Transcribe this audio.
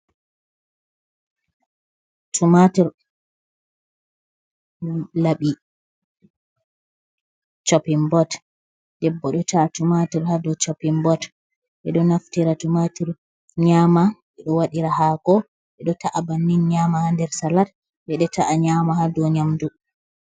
Tumatur, laɓi, chopin bot, debbo do ta'a tumatur ha dou chopin bot, ɓeɗo naftira tumatur r nyama, ɓeɗo waɗira hako ɓeɗo ta’a bannin nyama nder salat ɓeɗo ta’a nyama ha dou nyamdu.